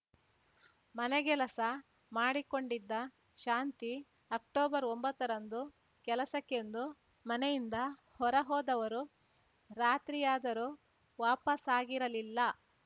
ಮನೆಗೆಲಸ ಮಾಡಿಕೊಂಡಿದ್ದ ಶಾಂತಿ ಅಕ್ಟೊಬರ್ಒಂಬತ್ತ ರಂದು ಕೆಲಸಕ್ಕೆಂದು ಮನೆಯಿಂದ ಹೊರ ಹೋದವರು ರಾತ್ರಿಯಾದರೂ ವಾಪಸಾಗಿರಲಿಲ್ಲ